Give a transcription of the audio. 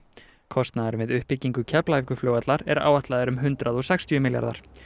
kostnaður við uppbyggingu Keflavíkurflugvallar er áætlaður um hundrað og sextíu milljarðar